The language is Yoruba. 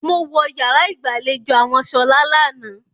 Mo wọ yàrá ìgbàlejò àwọn Ṣọlá lánàá.